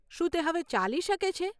શું તે હવે ચાલી શકે છે?